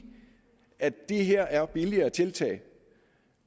det her er billigere tiltag